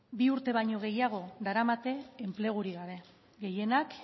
bi urte baino gehiago daramate enplegurik gabe gehienak